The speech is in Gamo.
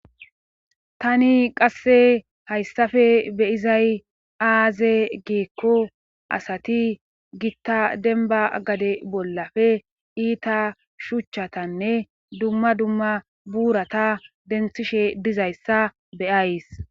tani qasse hayssafe beyizay aaze giikko asati gitta denba gade bollafe iita shuchchatanne dumma dumma buurata denthishe dizayssa beyays